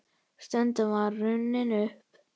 Stundin var runnin upp.